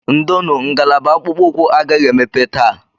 Ndonu, ngalaba akpụkpọ ụkwụ agaghị emepe taa